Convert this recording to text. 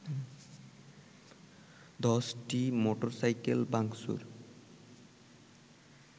১০টি মোটরসাইকেল ভাংচুর